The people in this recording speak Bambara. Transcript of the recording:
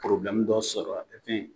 dɔ sɔrɔ